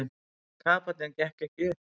Kapallinn gekk ekki upp.